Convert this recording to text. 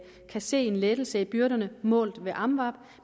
kan se en lettelse i byrderne målt ved amvab